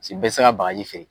Si bɛɛ te se ka bagaji feere.